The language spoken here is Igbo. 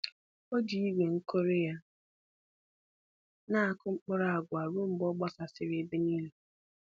O ji igwe nkụri ya na-akụ mkpụrụ agwa ruo mgbe ọ gbasasịrị ebe niile.